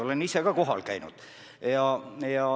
Olen ise ka kohal käinud.